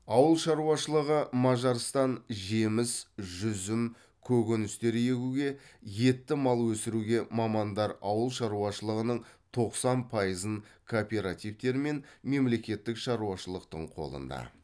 ауыл шаруашылығы мажарстан жеміс жүзім көкөністер егуге етті мал өсіруге мамандар ауыл шаруашылығының тоқсан пайызын кооперативтер мен мемлекеттік шаруашылықтың қолында